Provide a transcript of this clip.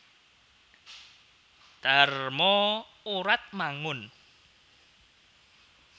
Dharma Oratmangun